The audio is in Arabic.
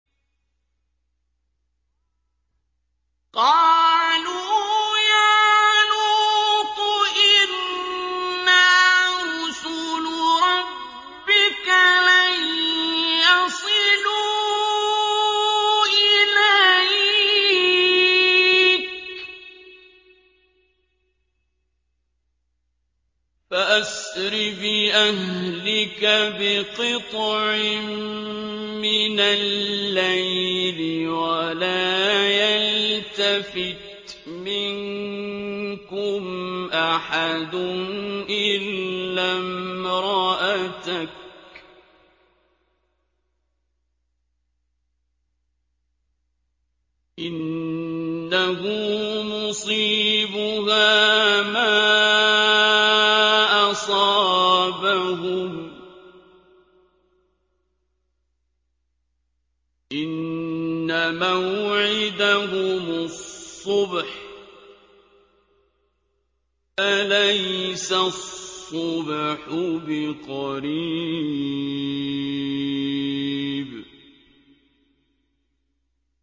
قَالُوا يَا لُوطُ إِنَّا رُسُلُ رَبِّكَ لَن يَصِلُوا إِلَيْكَ ۖ فَأَسْرِ بِأَهْلِكَ بِقِطْعٍ مِّنَ اللَّيْلِ وَلَا يَلْتَفِتْ مِنكُمْ أَحَدٌ إِلَّا امْرَأَتَكَ ۖ إِنَّهُ مُصِيبُهَا مَا أَصَابَهُمْ ۚ إِنَّ مَوْعِدَهُمُ الصُّبْحُ ۚ أَلَيْسَ الصُّبْحُ بِقَرِيبٍ